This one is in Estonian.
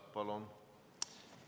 Palun!